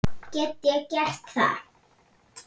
Get ég gert það?